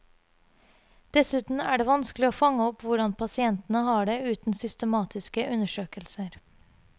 Dessuten er det vanskelig å fange opp hvordan pasientene har det uten systematiske undersøkelser.